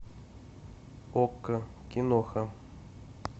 окко киноха